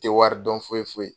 Te wari dɔn foyi foyi .